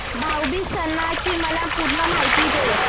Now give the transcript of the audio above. भाऊ बीज सणाची मला पूर्ण माहिती दे